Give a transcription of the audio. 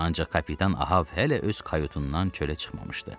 Ancaq kapitan Ahav hələ öz kayutundan çölə çıxmamışdı.